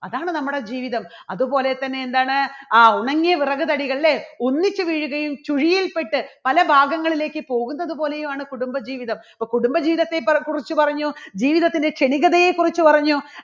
അതാണ് നമ്മുടെ ജീവിതം അതുപോലെതന്നെ എന്താണ് ആ ഉണങ്ങിയ വിറക് തടികൾ അല്ലേ ഒന്നിച്ചു വീഴുകയും ചുഴിയിൽ പെട്ട് പല ഭാഗങ്ങളിലേക്ക് പോകുന്നത് പോലെയും ആണ് കുടുംബജീവിതം. കുടുംബജീവിതത്തെപ~ക്കുറിച്ച് പറഞ്ഞു ജീവിതത്തിൻറെ ക്ഷണികതയെ കുറിച്ച് പറഞ്ഞു